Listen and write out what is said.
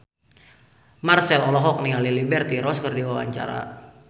Marchell olohok ningali Liberty Ross keur diwawancara